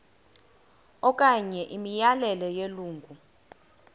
okanye imiyalelo yelungu